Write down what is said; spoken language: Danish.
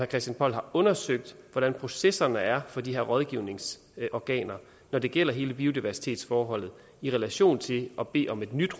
christian poll har undersøgt hvordan processerne er for de her rådgivningsorganer når det gælder hele biodiversitetsforholdet i relation til at bede om et nyt